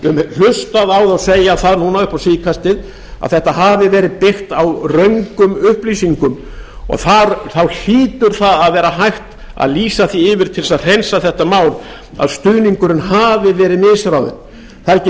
hlustað á þá segja það núna upp á síðkastið að þetta hafi verið byggt á röngum upplýsingum og þá hlýtur að vera hægt að lýsa því yfir til að hreinsa þetta mál að stuðningurinn hafi verið misráðinn það er ekki